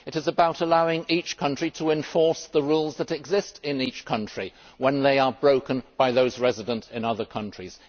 It is about allowing each country to enforce the rules that exist in each country when they are broken by those resident in other countries.